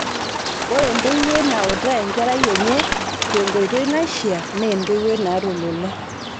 Ore entoiwui nautaa enkerai enye tenkoitoi naishia, na entoiwuo naata olula